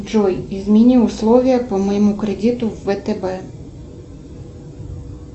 джой измени условия по моему кредиту в втб